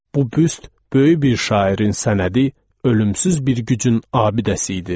Bu büst, böyük bir şairin sənədi, ölümsüz bir gücün abidəsi idi.